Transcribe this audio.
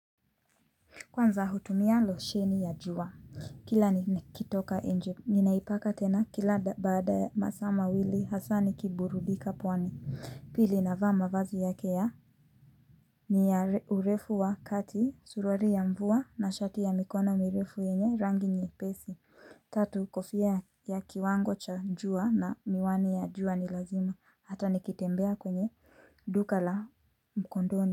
Kwanza hutumia losheni ya jua, kila nikitoka nje, ninaipaka tena kila baada masaa ma wili hasa nikiburudika pwani. Pili navaa mavazi yake ya ni ya urefu wa kati, suruari ya mvua na shati ya mikono urefu yenye rangi nyepesi. Tatu kofia ya kiwango cha juwa na miwani ya juwa ni lazima, hata nikitembea kwenye duka la mkondoni.